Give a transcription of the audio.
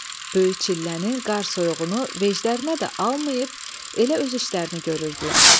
Böyük çillənin qar soyuğunu veclərinə də almayıb elə öz işlərini görürdülər.